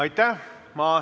Aitäh!